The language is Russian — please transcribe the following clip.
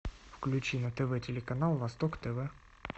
включи на тв телеканал восток тв